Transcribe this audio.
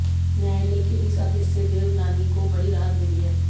न्यायालय के इस आदेश से देवनानी को बडी राहत मिली है